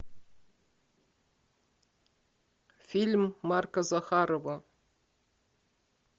фильм марка захарова